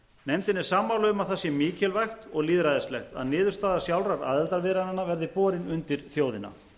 er sammála um að það sé mikilvægt og lýðræðislegt að niðurstaða sjálfra aðildarviðræðnanna verði borin undir þjóðina